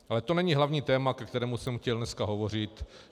Ale to není hlavní téma, ke kterému jsem chtěl dneska hovořit.